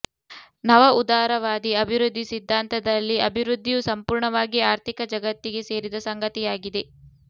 ನವ ಉದಾರವಾದಿ ಅಭಿವೃದ್ದಿ ಸಿದ್ಧಾಂತದಲ್ಲಿ ಅಭಿವೃದ್ಧಿಯು ಸಂಪೂರ್ಣವಾಗಿ ಆರ್ಥಿಕ ಜಗತ್ತಿಗೆ ಸೇರಿದ ಸಂಗತಿಯಾಗಿದೆ